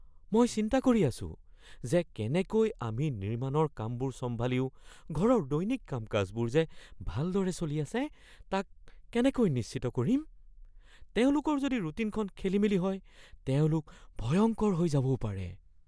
মই চিন্তা কৰি আছোঁ যে কেনেকৈ আমি নিৰ্মাণৰ কামবোৰ চম্ভালিও ঘৰৰ দৈনিক কাম-কাজবোৰ যে ভালদৰে চলি আছে তাক কেনেকৈ নিশ্চিত কৰিম। তেওঁলোকৰ যদি ৰুটিনখন খেলিমেলি হয় তেওঁলোক ভয়ংকৰ হৈ যাবও পাৰে।